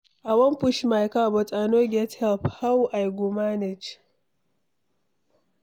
I wan push my car, but I no get help, how I go manage?